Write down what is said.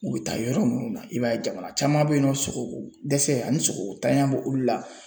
U bɛ taa yɔrɔ minnu na i b'a ye jamana caman bɛ yennɔ sogokodɛsɛ ani sogokotanya b'olu la.